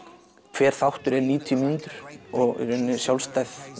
hver þáttur er níutíu mínútur og í rauninni sjálfstæð